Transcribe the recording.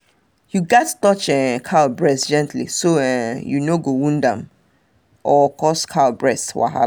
you gats touch um cow breast gentle so um you no go wound um am or cause cow breast wahala